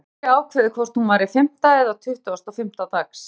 Ég gat aldrei ákveðið hvort hún væri fimmta eða tuttugasta og fimmta dags.